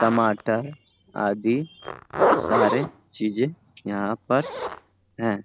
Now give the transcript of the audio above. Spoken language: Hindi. टमाटर आदि सारे चीजें यहाँ पर हैं।